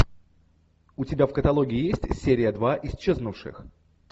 у тебя в каталоге есть серия два исчезнувших